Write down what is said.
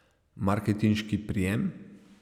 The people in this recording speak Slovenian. Marketinški prijem?